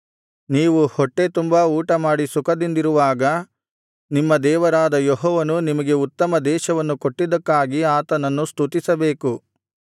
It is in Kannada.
ನೀವು ಹೊಟ್ಟೆ ತುಂಬಾ ಊಟಮಾಡಿ ಸುಖದಿಂದಿರುವಾಗ ನಿಮ್ಮ ದೇವರಾದ ಯೆಹೋವನು ನಿಮಗೆ ಉತ್ತಮ ದೇಶವನ್ನು ಕೊಟ್ಟಿದ್ದಕ್ಕಾಗಿ ಆತನನ್ನು ಸ್ತುತಿಸಬೇಕು